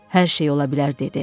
Hər şey ola bilər dedi.